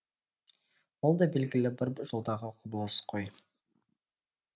бұл да белгілі бір жолдағы құбылыс қой